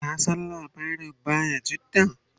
ka San labarin bayajidda?